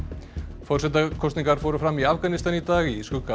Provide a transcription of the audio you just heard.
forsetakosningar fóru fram í Afganistan í dag í skugga